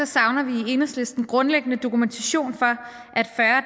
savner vi i enhedslisten grundlæggende dokumentation for